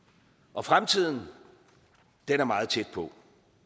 og fremtiden er meget tæt på